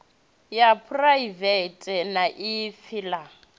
ya phuraivethe na ipfi ḽa